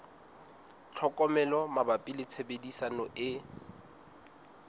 tlhokomelo mabapi le tshebediso e